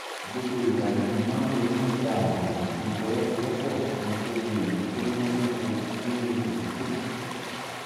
gbogbo ìgbà ni mo máa ń ronú nípa ààbò àti ìfọwọ́sowọ́pọ̀ kí n tó wo èyí tó múnádóko nínú ipòkípò